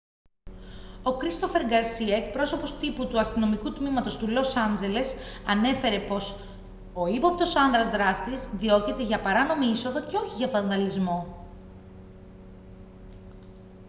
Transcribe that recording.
ο christopher garcia εκπρόσωπος τύπου του αστυνομικού τμήματος του λος άντζελες ανέφερε πως ο ύποπτος άνδρας δράστης διώκεται για παράνομη είσοδο και όχι για βανδαλισμό